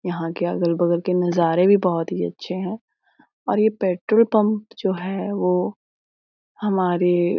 यहाँ के अगल-बगल के नजारे भी बहुत ही अच्छे है और ये पेट्रोल पम्प जो है वो हमारे --